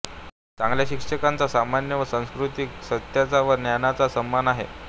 चांगल्या शिक्षकांचा सन्मान हा संस्कृतीचा सत्याचा व ज्ञानाचा सन्मान आहे